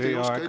Teie aeg!